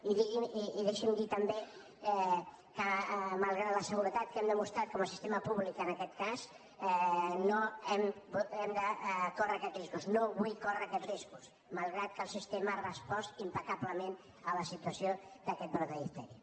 i deixi’m dir també que malgrat la seguretat que hem demostrat com a sistema públic en aquest cas no hem de córrer aquests riscos no vull córrer aquests riscos malgrat que el sistema ha respost impecablement a la situació d’aquest brot de diftèria